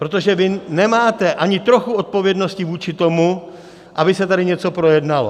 Protože vy nemáte ani trochu odpovědnosti vůči tomu, aby se tady něco projednalo.